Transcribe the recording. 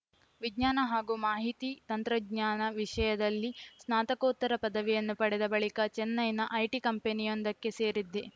ವಿಜ್ಞಾನ ಹಾಗೂ ಮಾಹಿತಿ ತಂತ್ರಜ್ಞಾನ ವಿಷಯದಲ್ಲಿ ಸ್ನಾತಕೋತ್ತರ ಪದವಿಯನ್ನು ಪಡೆದ ಬಳಿಕ ಚೆನ್ನೈನ ಐಟಿ ಕಂಪನಿಯೊಂದಕ್ಕೆ ಸೇರಿದ್ದೆ